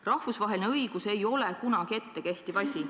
Rahvusvaheline õigus ei ole kunagi ette kehtiv asi.